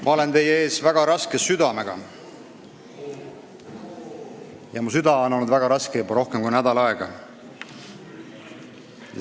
Ma olen teie ees väga raske südamega ja mu süda on olnud väga raske juba rohkem kui nädal aega.